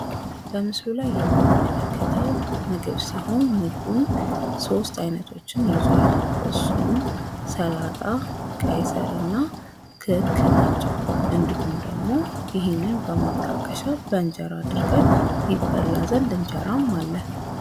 በምስሉ ላይ የምንመለከተው ምግብ ሲሆን ምግቡም ሦስት አይነቶችን ይዟል። እንሱም ፦ ሰላጣ፣ ቀይስር እና ክክ ናቸው። እዲሁም ደግሞ ይሄንን በማጣከሽ በእንጀራ አድርገን ይበላ ዘንድ እንጀራም አለ ::